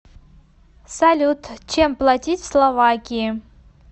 салют чем платить в словакии